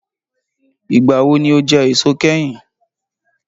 Ìgbà wo ni o jẹ èso kẹ́yìn